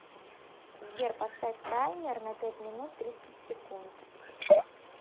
сбер поставь таймер на пять минут тридцать секунд